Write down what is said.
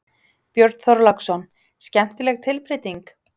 Björn Þorláksson: Skemmtileg tilbreyting?